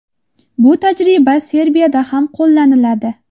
Bu tajriba Serbiyada ham qo‘llaniladi.